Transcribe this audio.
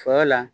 Sɔ la